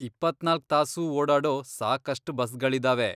ಇಪ್ಪತ್ನಾಲ್ಕ್ ತಾಸೂ ಓಡಾಡೋ ಸಾಕಷ್ಟ್ ಬಸ್ಗಳಿದಾವೆ.